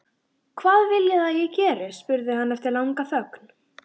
Hvað viljiði að ég geri? spurði hann eftir langa þögn.